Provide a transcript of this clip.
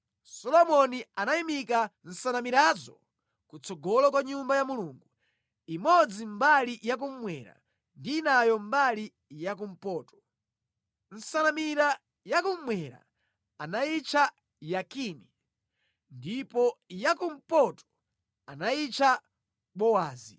Solomoni anayimika nsanamirazo kutsogolo kwa Nyumba ya Mulungu, imodzi mbali ya kummwera ndi inayo mbali ya kumpoto. Nsanamira ya kummwera anayitcha Yakini ndipo ya kumpoto anayitcha Bowazi.